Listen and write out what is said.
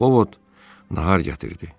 O Vot nahar gətirdi.